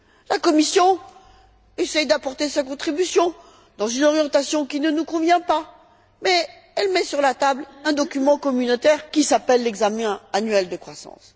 La Commission essaie d'apporter sa contribution dans une orientation qui ne nous convient pas, mais elle met sur la table un document communautaire qui s'appelle l'examen annuel de croissance.